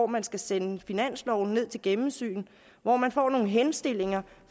man skal sende finansloven ned til gennemsyn hvor man får nogle henstillinger